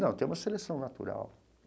Não, tem uma seleção natural.